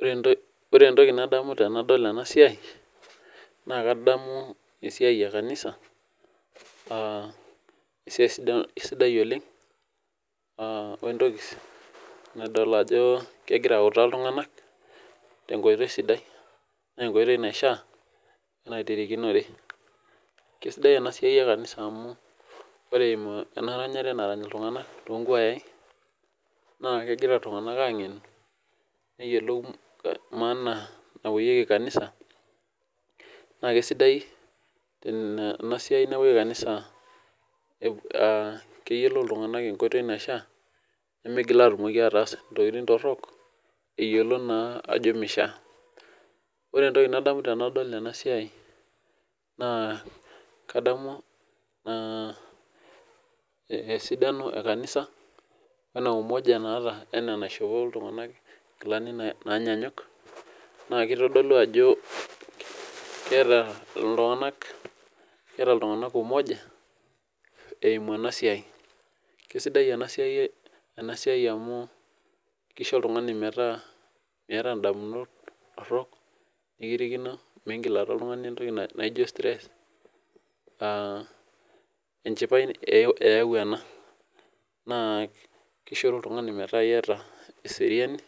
Ore entoki nadamu tanadol enasia na kadamu ajo esiai sidai oleng nadol ajo ltunganak tenkoitoi sidai na enkoitoi naishaa naitirikinore na enetipat enasiai ore enaranyare kuna kuayai na neyiolou maana napuoyieki kanisa na kesidai tenepuoi kanisa amu keyiolou ltunganak nkoitoi naishaa nilo ayiolou ntokitin torok naishaa ore entoki nadamu tanadol ena siai na kadamu esidano ekanisa naa ena umoja naata wenkishopoto naishop ltunganak nkilani nanyanyuk nakitadolu ajo keeta ltunganak umoja eimu enasia kesidai enasia amu kisho oltungani metaa meeta ndamunot torok nikirikino migil aata oltungani entoki naijo stress enchipae eyau ena na kisho oltungani metaa keeta eseriani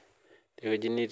tewoi natii